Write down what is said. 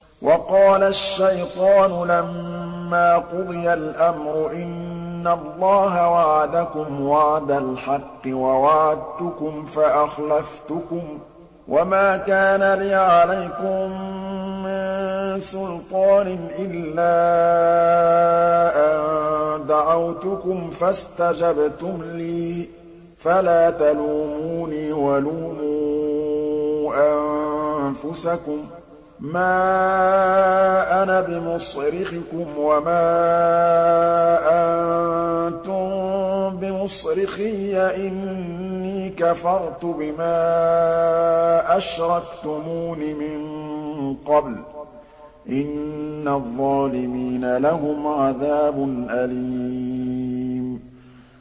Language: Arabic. وَقَالَ الشَّيْطَانُ لَمَّا قُضِيَ الْأَمْرُ إِنَّ اللَّهَ وَعَدَكُمْ وَعْدَ الْحَقِّ وَوَعَدتُّكُمْ فَأَخْلَفْتُكُمْ ۖ وَمَا كَانَ لِيَ عَلَيْكُم مِّن سُلْطَانٍ إِلَّا أَن دَعَوْتُكُمْ فَاسْتَجَبْتُمْ لِي ۖ فَلَا تَلُومُونِي وَلُومُوا أَنفُسَكُم ۖ مَّا أَنَا بِمُصْرِخِكُمْ وَمَا أَنتُم بِمُصْرِخِيَّ ۖ إِنِّي كَفَرْتُ بِمَا أَشْرَكْتُمُونِ مِن قَبْلُ ۗ إِنَّ الظَّالِمِينَ لَهُمْ عَذَابٌ أَلِيمٌ